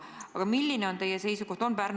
Milline on selles asjas teie seisukoht?